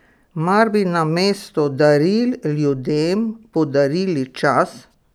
Mar bi namesto daril ljudem podarili čas!